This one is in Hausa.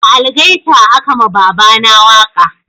Da algaita a ka ma baba na waka